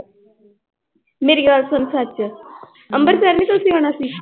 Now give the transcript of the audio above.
ਮੇਰੀ ਗੱਲ ਸੁਣ ਸੱਚ ਅੰਬਰਸਰ ਨੀ ਤੁਸੀਂ ਜਾਣਾ ਸੀ